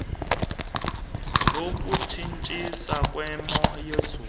yokutshintsha kwemo yezulu